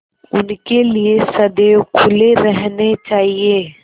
उनके लिए सदैव खुले रहने चाहिए